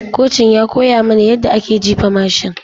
Kocin ya koya mana yadda ake jifa mashin.